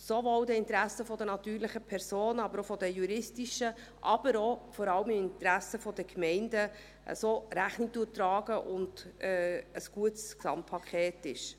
sowohl den Interessen der natürlichen als auch der juristischen Personen Rechnung trägt, aber vor allem auch den Interessen der Gemeinden, und ein gutes Gesamtpaket ist.